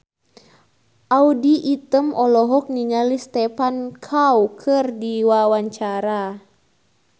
Audy Item olohok ningali Stephen Chow keur diwawancara